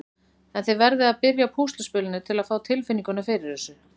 En þið verðið að byrja á púsluspilinu til að fá tilfinninguna fyrir þessu.